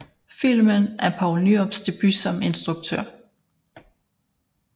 Filmen er Poul Nyrups debut som instruktør